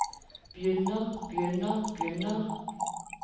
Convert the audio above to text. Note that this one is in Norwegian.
begynner begynner begynner